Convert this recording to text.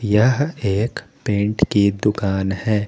यह एक पेंट की दुकान है।